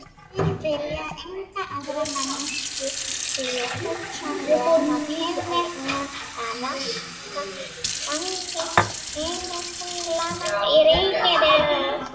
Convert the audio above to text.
Þeir vilja enga aðra manneskju því hugsanlega kynni hún að raska gangi himintunglanna í ríkinu.